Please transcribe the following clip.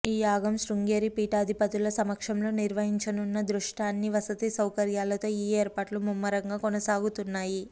ఈ యాగం శృంగేరి పీఠాధిపతులుల సమక్షంలో నిర్వహించనున్న దృష్ట్యా అన్ని వసతి సౌకర్యాలతో ఈ ఏర్పాట్లు ముమ్మరంగా కొనసాగుతున్నాయి